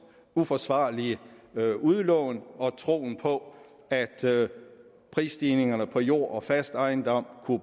uforsvarlige udlån og troen på at prisstigningerne på jord og fast ejendom